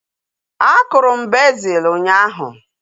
A kụrụ m bezil ụnyaahụ